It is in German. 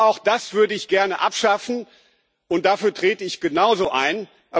Und auch das würde ich gerne abschaffen, und dafür trete ich genauso ein.